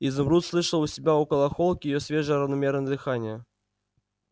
изумруд слышал у себя около холки его свежее равномерное дыхание